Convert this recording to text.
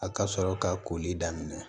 A ka sɔrɔ ka koli daminɛ